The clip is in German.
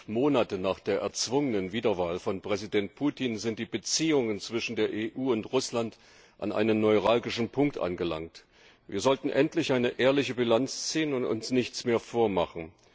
Fünf Monate nach der erzwungenen Wiederwahl von Präsident Putin sind die Beziehungen zwischen der EU und Russland an einem neuralgischen Punkt angelangt. Wir sollten endlich eine ehrliche Bilanz ziehen und uns nichts mehr vormachen.